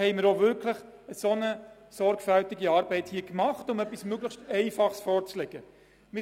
Wir haben sorgfältige Arbeit geleistet und legen ein einfaches Modell vor.